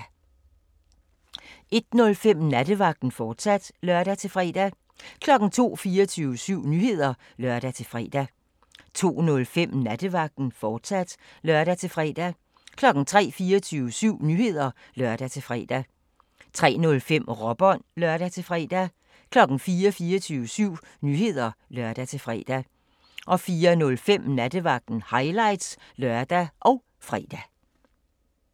01:05: Nattevagten, fortsat (lør-fre) 02:00: 24syv Nyheder (lør-fre) 02:05: Nattevagten, fortsat (lør-fre) 03:00: 24syv Nyheder (lør-fre) 03:05: Råbånd (lør-fre) 04:00: 24syv Nyheder (lør-fre) 04:05: Nattevagten – highlights (lør og fre)